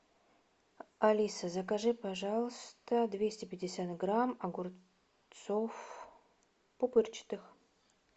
алиса закажи пожалуйста двести пятьдесят грамм огурцов пупырчатых